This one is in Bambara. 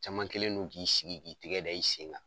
Caman kɛlen do k'i sigi k'i tigɛ da i sen kan.